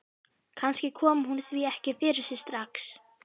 Kannski kom hún því ekki fyrir sig strax.